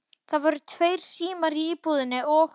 Það voru tveir símar í íbúðinni og